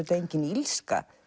engin illska